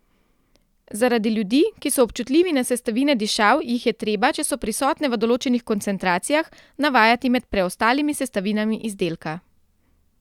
Zaradi ljudi, ki so občutljivi za sestavine dišav, jih je treba, če so prisotne v določenih koncentracijah, navajati med preostalimi sestavinami izdelka.